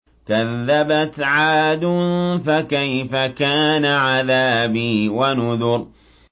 كَذَّبَتْ عَادٌ فَكَيْفَ كَانَ عَذَابِي وَنُذُرِ